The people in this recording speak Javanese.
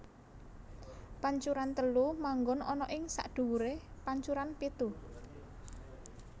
Pancuran telu manggon ana ing sakndhuwuré pancuran pitu